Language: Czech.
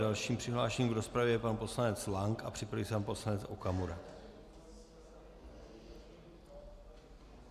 Dalším přihlášeným do rozpravy je pan poslanec Lank a připraví se pan poslanec Okamura.